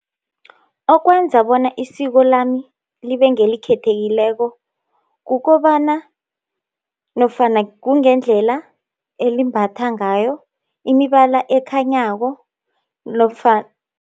Okwenza bona isiko lami libengelikhethekileko, kukobana nofana kungendlela elimbatha ngayo imibala ekhanyako nofana